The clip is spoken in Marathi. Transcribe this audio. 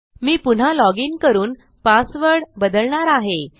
मी पुन्हा लॉजिन करून पासवर्ड बदलणार आहे